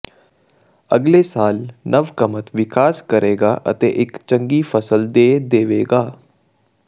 ਅਗਲੇ ਸਾਲ ਨਵ ਕਮਤ ਵਿਕਾਸ ਕਰੇਗਾ ਅਤੇ ਇੱਕ ਚੰਗੀ ਫ਼ਸਲ ਦੇ ਦੇਵੇਗਾ